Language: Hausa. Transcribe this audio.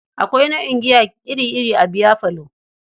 Akwai nau'in giya iri-iri a biyafalo.